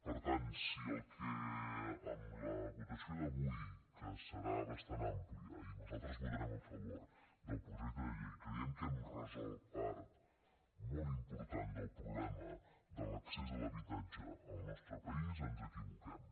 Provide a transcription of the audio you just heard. per tant si el que amb la votació d’avui que serà bastant àmplia i nosaltres votarem a favor del projecte de llei creiem que hem resolt part molt important del problema de l’accés a l’habitatge al nostre país ens equivoquem